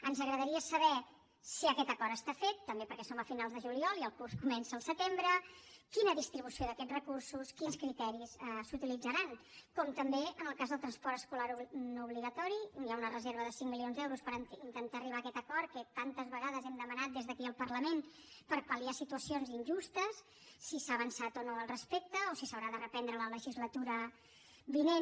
ens agradaria saber si aquest acord està fet també perquè som a finals de juliol i el curs comença al setembre quina distribució d’aquests recursos quins criteris s’hi utilitzaran com també en el cas del transport escolar no obligatori hi ha una reserva de cinc milions d’euros per intentar arribar a aquest acord que tantes vegades hem demanat des d’aquí el parlament per pal·liar situacions injustes si s’ha avançat o no al respecte o si s’haurà de reprendre la legislatura vinent